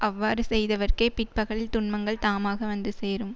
அவ்வாறு செய்தவர்க்கே பிற்பகலில் துன்பங்கள் தாமாக வந்து சேரும்